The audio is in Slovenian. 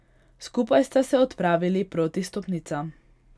Skupaj sta se odpravili proti stopnicam.